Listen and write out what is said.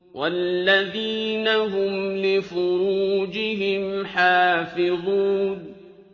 وَالَّذِينَ هُمْ لِفُرُوجِهِمْ حَافِظُونَ